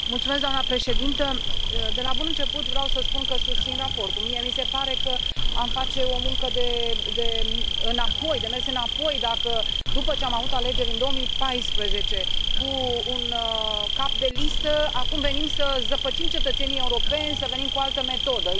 Doamnă președintă, de la bun început vreau să spun că susțin raportul. Mie mi se pare că am face o muncă de mers înapoi dacă, după ce am avut alegeri în 2014 cu un cap de listă, acum venim să zăpăcim cetățenii europeni, să venim cu altă metodă.